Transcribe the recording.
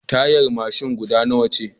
Tayar mashin guda nawa ce